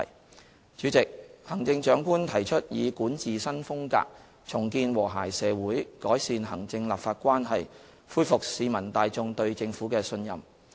代理主席，行政長官提出以管治新風格，重建和諧社會，改善行政立法關係，恢復市民大眾對政府的信任。